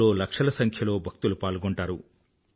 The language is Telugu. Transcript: ఇందులో లక్షల సంఖ్యలో భక్తులు పాల్గొంటారు